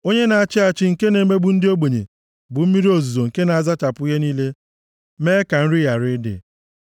Onye na-achị achị nke na-emegbu ndị ogbenye, bụ mmiri ozuzo nke na-azachapụ ihe niile mee ka nri ghara ịdị.